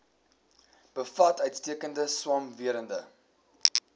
bevat uitstekende swamwerende